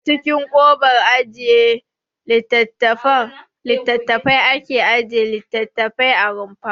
A cikin kobar ajiye littattafai ake ajiye littattafai a rumfa.